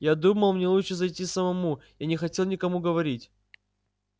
я думал мне лучше зайти самому я не хотел никому говорить